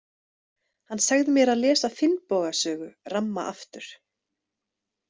Hann sagði mér að lesa Finnboga sögu ramma aftur.